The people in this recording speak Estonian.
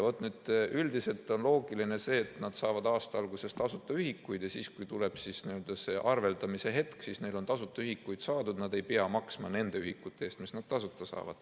Üldiselt on loogiline see, et nad saavad aasta alguses tasuta ühikuid ja siis, kui tuleb see arveldamise hetk, on neil tasuta ühikuid saadud, nad ei pea maksma nende ühikute eest, mis nad tasuta saavad.